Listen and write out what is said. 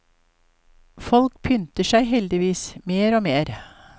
Folk pynter seg heldigvis mer og mer.